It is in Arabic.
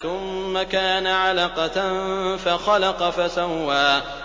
ثُمَّ كَانَ عَلَقَةً فَخَلَقَ فَسَوَّىٰ